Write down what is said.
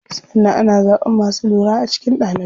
Sannan ana zaɓan masu lura a cikin ɗalibai.